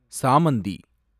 சாமந்தி